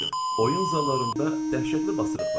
Oyun zallarında dəhşətli basırıq vardı.